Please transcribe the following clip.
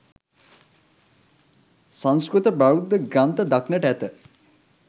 සංස්කෘත බෞද්ධ ග්‍රන්ථ දක්නට ඇත.